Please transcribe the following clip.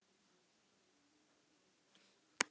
Maðurinn brosti vandræðalega og hagræddi sér í stólnum.